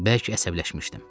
Bəlkə əsəbləşmişdim.